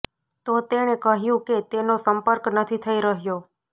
તો તેણે કહ્યું કે તેનો સંપર્ક નથી થઈ રહ્યો